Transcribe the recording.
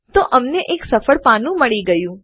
તો અમને એક સફળ પાનું મળી ગયું